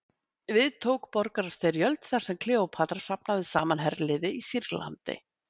Við tók borgarastyrjöld þar sem Kleópatra safnaði saman herliði í Sýrlandi.